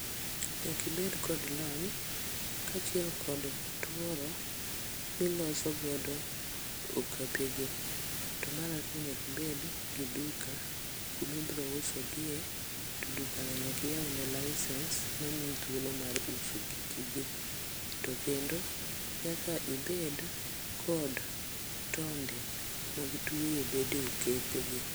Nyaka ibed kod lony kachiel kod tuoro miloso godo okapege. To mar ariyo nyaka ibed gi duka kama ibiro usogie to dukano tonyaka iywne licence mamiyi thuolo mar uso giki gi. to kendo nyaka ibed kod tonde mag tweyo bede okepe gi.